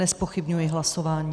Nezpochybňuji hlasování.